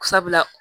Sabula